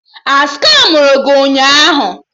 A skamụrụ gị ụnyaahụ?